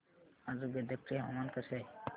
आज गदग चे हवामान कसे आहे